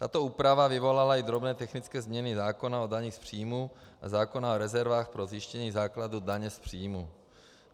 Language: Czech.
Tato úprava vyvolala i drobné technické změny zákona o dani z příjmu a zákona o rezervách pro zjištění základu daně z příjmu.